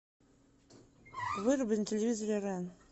выруби на телевизоре рен